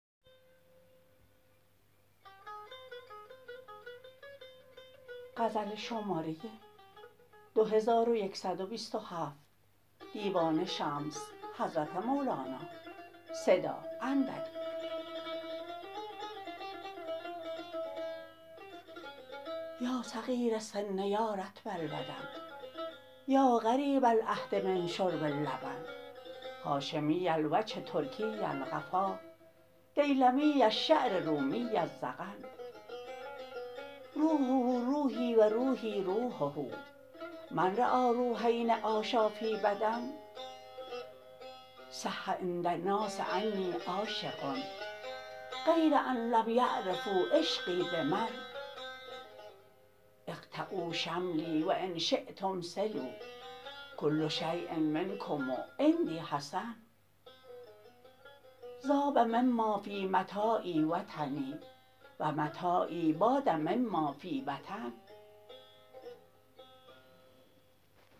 یا صغیر السن یا رطب البدن یا قریب العهد من شرب اللبن هاشمی الوجه ترکی القفا دیلمی الشعر رومی الذقن روحه روحی و روحی روحه من رآی روحین عاشا فی بدن صح عند الناس انی عاشق غیر ان لم یعرفوا عشقی به من اقطعوا شملی و ان شیتم صلوا کل شیء منکم عندی حسن ذاب مما فی متاعی وطنی و متاعی باد مما فی وطن